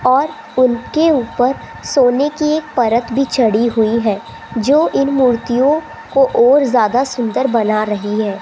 और उनके ऊपर सोने की एक परक भी चढ़ी हुई है जो इन मूर्तियों को और ज्यादा सुंदर बना रही है।